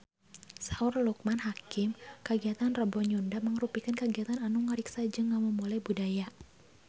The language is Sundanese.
Saur Loekman Hakim kagiatan Rebo Nyunda mangrupikeun kagiatan anu ngariksa jeung ngamumule budaya Sunda